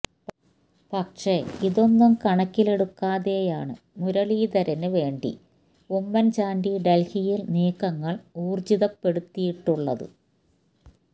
പക്ഷെ ഇതൊന്നും കണക്കിലെടുക്കാതെയാണ് മുരളീധരന് വേണ്ടി ഉമ്മന്ചാണ്ടി ഡല്ഹിയില് നീക്കങ്ങള് ഊര്ജിതപ്പെടുത്തിയിട്ടുള്ളത്